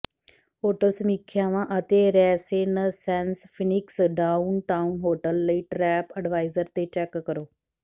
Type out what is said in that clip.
hotel ਸਮੀਖਿਆਂਵਾਂ ਅਤੇ Renaissance Phoenix downtown hotel ਲਈ ਟ੍ਰੈਪ ਅਡਵਾਈਜ਼ਰ ਤੇ ਚੈੱਕ ਕਰੋ